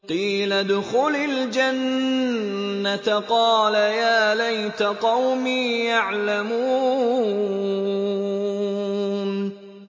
قِيلَ ادْخُلِ الْجَنَّةَ ۖ قَالَ يَا لَيْتَ قَوْمِي يَعْلَمُونَ